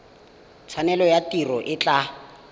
tshwanelo ya tiro e tla